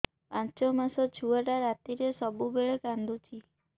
ପାଞ୍ଚ ମାସ ଛୁଆଟା ରାତିରେ ସବୁବେଳେ କାନ୍ଦୁଚି